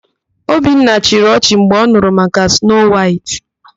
Obinna chịrị ọchị mgbe ọ nụrụ maka Snoo Waịtị.